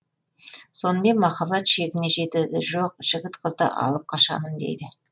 сонымен махаббат шегіне жетеді жоқ жігіт қызды алып қашамын дейді